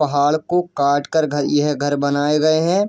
पहाड़ को काटकर घर यह घर बनाये गए हैं।